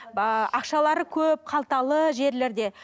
ааа ақшалары көп қалталы жерлерде